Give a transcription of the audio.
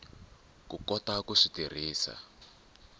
ku kota ku swi tirhisa